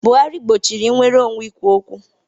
Buhari gbochiri nnwere onwe ikwu okwu.